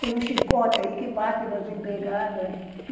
Tem um chicote aí que bate nas empregadas.